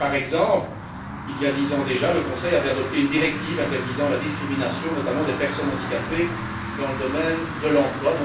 Par exemple, il y a dix ans déjà, le Conseil avait adopté une directive interdisant la discrimination notamment des personnes handicapées dans le domaine de l'emploi.